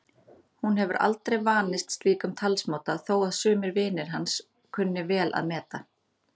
Hún hefur aldrei vanist slíkum talsmáta þó að sumir vinir hans kunni vel að meta.